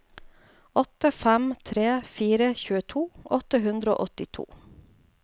åtte fem tre fire tjueto åtte hundre og åttito